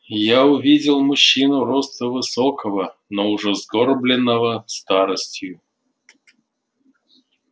я увидел мужчину росту высокого но уже сгорбленного старостью